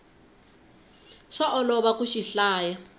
swa olova ku xi hlaya